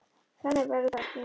Þannig verður það ekki.